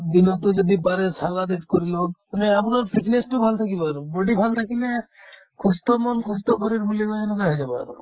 দিনতো যদি পাৰে salad add কৰি দিব মানে আপোনাৰ fitness তো ভাল থাকিব আৰু body ভাল থাকিলে সুস্থ মন সুস্থ শৰীৰ বুলি কই এনেকুৱা হৈ যাব আৰু